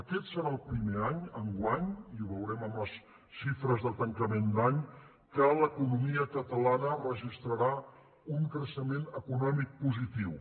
aquest serà el primer any enguany i ho veurem amb les xifres de tanca·ment d’any que l’economia catalana registrarà un crei·xement econòmic positiu